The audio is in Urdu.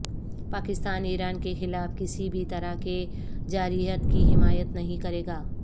پاکستان ایران کے خلاف کسی بھی طرح کہ جارحیت کی حمایت نہیں کرے گا